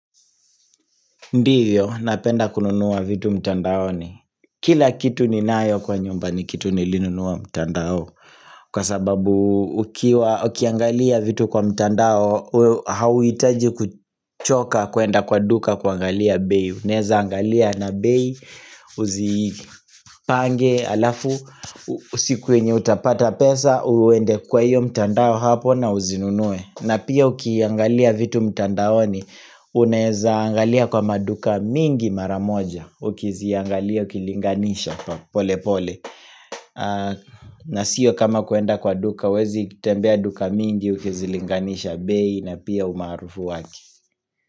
Ndiyo, napenda kununua vitu mtandaoni Kila kitu ni nayo kwa nyumba ni kitu ni linunua mtandao Kwa sababu ukiwa, ukiangalia vitu kwa mtandao Hauitaji kuchoka kuenda kwa duka kwa angalia bei Uneza angalia na bei, uzipange alafu Usikuwenye utapata pesa, uende kwa iyo mtandao hapo na uzinunuwe na pia ukiangalia vitu mtandaoni Unaezaangalia kwa maduka mingi maramoja Ukiziangalia, ukilinganisha, pole pole na sio kama kuenda kwa duka Wezi kitembea duka mingi, ukizilinganisha bei na pia umaarufu wake.